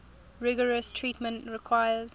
rigorous treatment requires